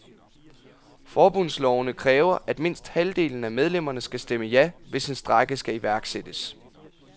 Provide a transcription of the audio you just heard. Forbundslovene kræver, at mindst halvdelen af medlemmerne skal stemme ja, hvis en strejke skal iværksættes.